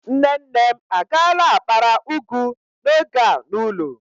Nne nne m agaala akpara ugu n'oge a n'ulo